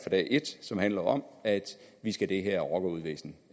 som handler om at vi skal det her rockeruvæsen